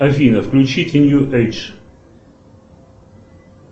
афина включите нью эйдж